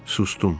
Sustum.